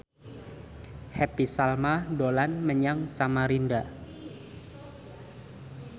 Happy Salma dolan menyang Samarinda